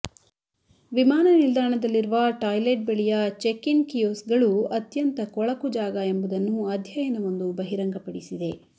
ವಿಮಾನ ನಿಲ್ದಾಣದಲ್ಲಿರುವ ಟಾಯ್ಲೆಟ್ ಬಳಿಯ ಚೆಕ್ ಇನ್ ಕಿಯೊಸ್ಕ್ಗಳು ಅತ್ಯಂತ ಕೊಳಕು ಜಾಗ ಎಂಬುದನ್ನು ಅಧ್ಯಯನವೊಂದು ಬಹಿರಂಗಪಡಿಸಿದೆ